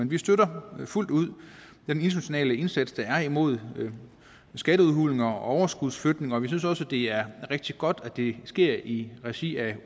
vi støtter fuldt ud den internationale indsats der er imod skatteudhuling og overskudsflytning og vi synes også det er rigtig godt at det sker i regi af